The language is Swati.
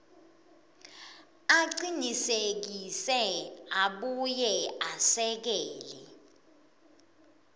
acinisekise abuye esekele